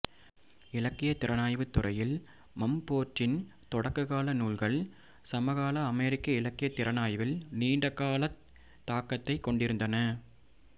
இலக்கியத் திறனாய்வுத் துறையில் மம்ஃபோர்டின் தொடக்ககால நூல்கள் சமகால அமெரிக்க இலக்கியத் திறனாய்வில் நீண்டகாலத் தாக்கத்தைக் கொண்டிருந்தன